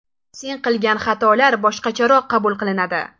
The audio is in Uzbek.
Sen qilgan xatolar boshqacharoq qabul qilinadi”.